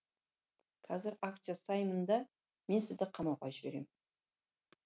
қазір акт жасаймын да мен сізді қамауға жіберем